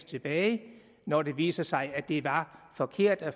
tilbage når det viser sig at det var forkert og at